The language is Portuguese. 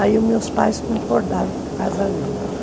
Aí meus pais concordaram com o casamento.